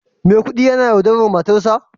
Maikudi yana yaudarar matarsa?